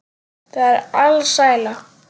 Það er alsæla.